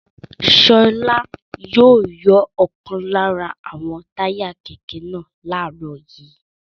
Ṣọlá yóò yọ ọ̀kan lára àwọn táyà kẹ̀kẹ́ náà láàárọ̀ yìí.